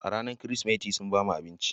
A ranar Kirsimeti, sun ba mu abinci